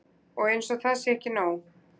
Og eins og það sé ekki nóg.